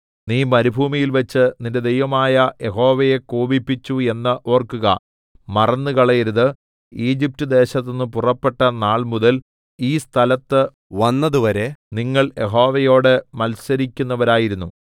നീ മരുഭൂമിയിൽവച്ച് നിന്റെ ദൈവമായ യഹോവയെ കോപിപ്പിച്ചു എന്ന് ഓർക്കുക മറന്നുകളയരുത് ഈജിപ്റ്റ്ദേശത്തുനിന്ന് പുറപ്പെട്ട നാൾമുതൽ ഈ സ്ഥലത്ത് വന്നതുവരെ നിങ്ങൾ യഹോവയോട് മത്സരിക്കുന്നവരായിരുന്നു